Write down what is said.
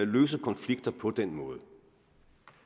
løse konflikter på den måde